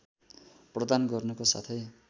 प्रदान गर्नुको साथै